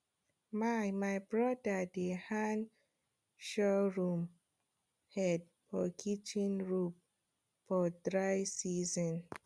my my brother dey hang sorghum head for kitchen roof for dry season